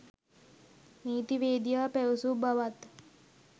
නීතිවේදියා පැවසූ බවත්